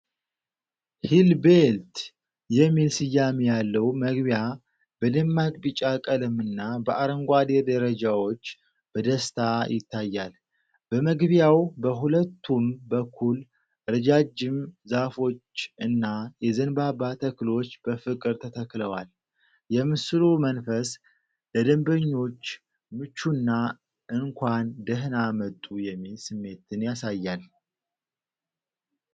"ሒል ቤልት" የሚል ስያሜ ያለው መግቢያ በደማቅ ቢጫ ቀለምና በአረንጓዴ ደረጃዎች በደስታ ይታያል። በመግቢያው በሁለቱም በኩል ረጃጅም ዛፎች እና የዘንባባ ተክሎች በፍቅር ተተክለዋል። የምስሉ መንፈስ ለደንበኞች ምቹና እንኳን ደህና መጡ የሚል ስሜትን ያሳያል።